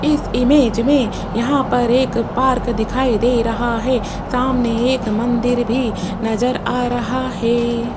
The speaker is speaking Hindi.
इस इमेज में यहां पर एक पार्क दिखाई दे रहा है सामने एक मंदिर भी नजर आ रहा है।